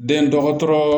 Den dɔgɔtɔrɔ